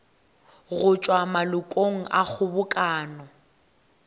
go tšwa malokong a kgobokano